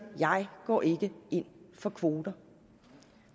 jeg går ikke ind for kvoter